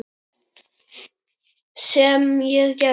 Sem ég gerði.